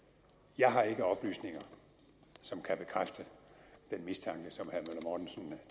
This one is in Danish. jeg har ikke oplysninger som kan bekræfte den mistanke som at